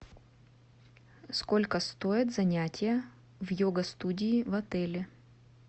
сколько стоит занятие в йога студии в отеле